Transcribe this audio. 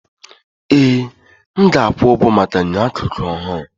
Ee! M ga-akwụ ụgwọ maka enyo akụkụ ọhụrụ.